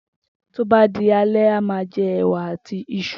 Tó bá di alé̩, a má a je̩ è̩wà àti is̩u